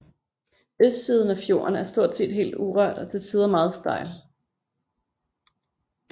Østsiden af fjorden er stort set helt urørt og til tider meget stejl